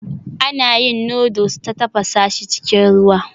Ana yin noodles ta tafasa shi cikin ruwa